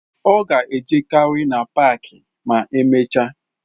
Ọ ga-ejegharị na paaki paaki ma emechaa.